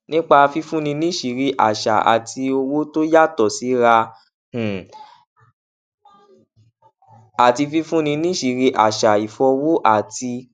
nípa fífúnni níṣìírí àsà ní owó ìwòye tó yàtò síra um àti fífúnni níṣìírí àṣà ìfọwò àti